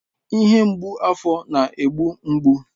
Ihe mgbu afọ na-egbu mgbu